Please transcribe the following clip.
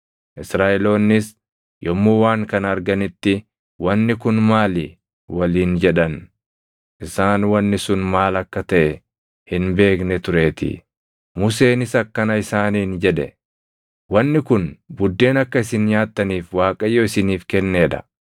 Israaʼeloonnis yommuu waan kana arganitti, “Wanni kun maali?” waliin jedhan. Isaan wanni sun maal akka taʼe hin beekne tureetii. Museenis akkana isaaniin jedhe; “Wanni kun buddeena akka isin nyaattaniif Waaqayyo isiniif kennee dha.